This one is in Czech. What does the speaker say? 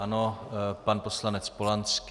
Ano, pan poslanec Polanský.